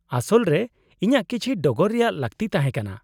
-ᱟᱥᱚᱞ ᱨᱮ ᱤᱧᱟᱹᱜ ᱠᱤᱪᱷᱤ ᱰᱚᱜᱚᱨ ᱨᱮᱭᱟᱜ ᱞᱟᱹᱠᱛᱤ ᱛᱟᱦᱮᱸ ᱠᱟᱱᱟ ᱾